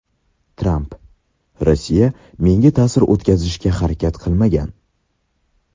Tramp: Rossiya menga ta’sir o‘tkazishga harakat qilmagan.